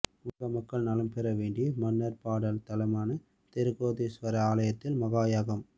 உலக மக்கள் நலம்பெற வேண்டி மன்னார் பாடல் தலமான திருக்கேதீஸ்வர ஆலயத்தில் மகாயாகம்